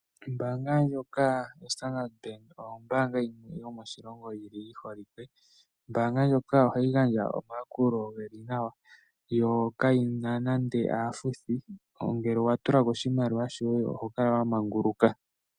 Ombaanga ndjoka yo Standard Bank, oyo ombaanga yimwe yomoshilongo yili yiholike. Ombaanga ndjoka ohayi gandja omayakulo geli nawa, yo kayina nande aafuthi, ngele owa tulako oshimaliwa shoye oho kala wa manguluka.